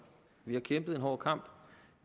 vi har kæmpet en hård kamp